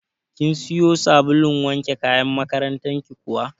Kin siyo sabulun wanke kayan makarantar ki kuwa?